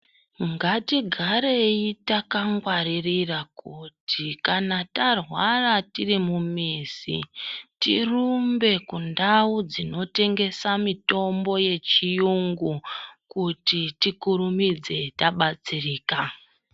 Ngatigarei takangwarira kuti kana tarwara tiri mumamizi, tirumbe kundawu dzinotengesa mitombo yechiyungu kuti tikurumidze tabatsirika.